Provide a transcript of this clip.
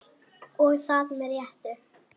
Og það með réttu.